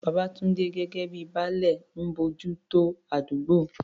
Babatunde, gẹ́gẹ́ bíi "Baale," ń bójú tó àdúgbò.